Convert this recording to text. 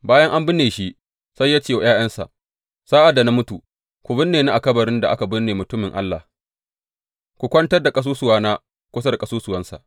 Bayan an binne shi, sai ya ce wa ’ya’yansa, Sa’ad da na mutu, ku binne ni a kabarin da aka binne mutumin Allah; ku kwantar da ƙasusuwana kusa da ƙasusuwansa.